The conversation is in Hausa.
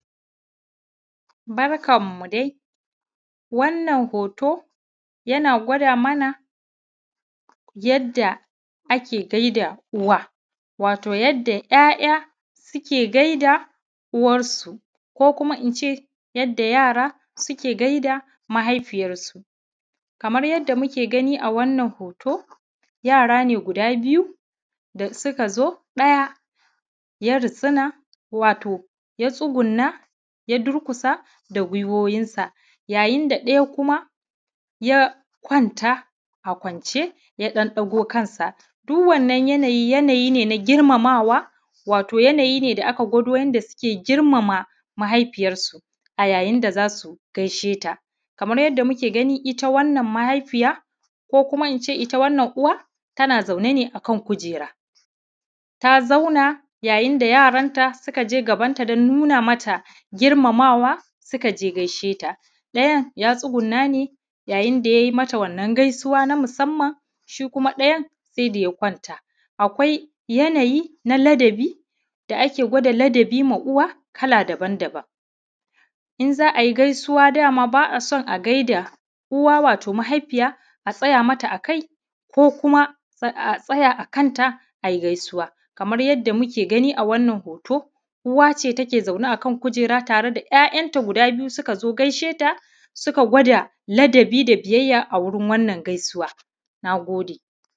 Barkanmu dai, wannan hoto yana gwada mana yadda ake gaida uwa, wato yadda ‘ya’ya suke gaida uwarsu ko kuma ince yadda yara suke gaida mahaifiyarsu, kamar yadda muke gani a wannan hoto yara ne guda biyu da suka zo ɗaya ya ritsina wato ya tsuguna ya durgusa da guwiwunsa, yayin da ɗaya kuma ya kwanta a kwance ya ɗan ɗago kansa, duk wannan yanayi yanayi na girmamawa wato yanayi ne aka gwado yadda suke girmamawa mahaifiyarsu a yayin da zasu gaishe ta, kamar yadda muke gani ita wannan mahaifiya ko kuma ince ita wannan Uwa tana zaune ne akan kujera, ta zauna yayin da yaranta suka je gabanta don nuna mata girmamawa suka je gaishe ta, ɗayan ya tsuguna ne yayin da ya yi mata wannan gaisuwa na musamman shi kuma ɗayan sai da ya kwanta, akwai yanayi na ladabi da ake gwada ladabi ma Uwa kala daban-daban, in za a yi gaisuwa dam aba a so a gaida Uwa wato mahaifiya a tsaya mata a kai ko kuma a tsaya a kanta ayi gaisuwa, kamar yadda muke gani a wannan hoto, Uwa ce take zaune a kan kujera tare da ‘ya’yanta guda biyu suka zo gaisheta suka gwada ladabi da biyyaya a wurin wannan gaisuwa, na gode.